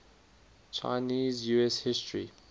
chinese us history